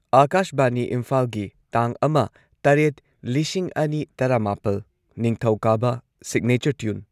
ꯑꯥꯀꯥꯁꯕꯥꯅꯤ ꯏꯝꯐꯥꯜꯒꯤ ꯇꯥꯡ ꯑꯃ ꯇꯔꯦꯠ ꯂꯤꯁꯤꯡ ꯑꯅꯤ ꯇꯔꯥꯃꯥꯄꯜ, ꯅꯤꯡꯊꯧꯀꯥꯕ ꯁꯤꯒꯅꯦꯆꯔ ꯇ꯭ꯌꯨꯟ